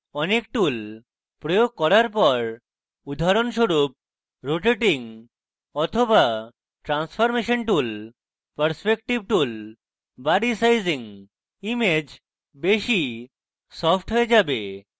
অনেক tools প্রয়োগ করার পর উদাহরণস্বরূপ rotating বা transformation tools perspective tools বা resizing image বেশী সফ্ট হয়ে যাবে